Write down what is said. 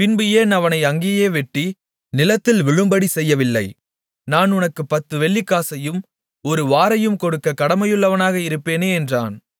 பின்பு ஏன் அவனை அங்கேயே வெட்டி நிலத்தில் விழும்படி செய்யவில்லை நான் உனக்குப் பத்து வெள்ளிக்காசையும் ஒரு வாரையும் கொடுக்கக் கடமையுள்ளவனாக இருப்பேனே என்றான்